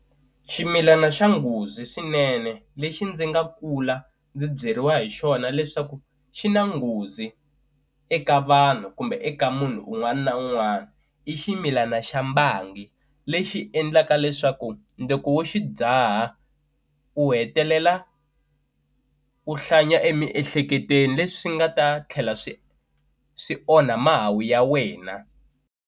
Ximilana xa nghozi swinene lexi ndzi nga kula ndzi byeriwa hi xona leswaku xi na nghozi eka vanhu kumbe eka munhu un'wana na un'wana i ximilana xa mbangi lexi endlaka leswaku loko wo xi dzaha u hetelela u hlanya emiehleketweni leswi nga ta tlhela swi swi onha mahawu ya wena.